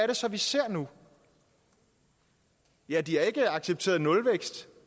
det så vi ser nu ja de har ikke accepteret nulvækst